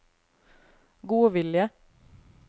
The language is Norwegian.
godvilje